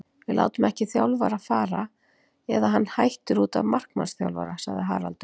Við látum ekki þjálfara fara, eða hann hættir útaf markmannsþjálfara, sagði Haraldur.